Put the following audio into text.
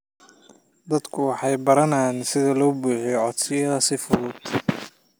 Dadku waxay baranayaan sida loo buuxiyo codsiyada si fudud.